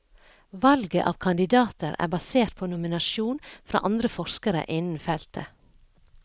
Valget av kandidater er basert på nominasjon fra andre forskere innen feltet.